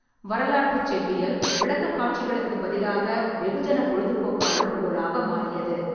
வரலாற்றுச் செவ்வியல் விளக்கக்காட்சிகளுக்குப் பதிலாக வெகுஜன பொழுதுபோக்கு அளவுகோலாக மாறியது.